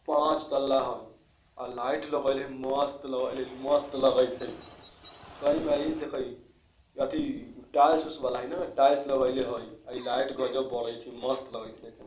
पाँच तल्ला हई अ लाइट लगईले हई मस्त लगईले मस्त लगैति हई सही म ई देखा ई अथी टाइल्स वाला हई न इ टाइल्स लगईले हई। आ ई लाइट गजब बढ़त हई मस्त लगैति हई देखे में |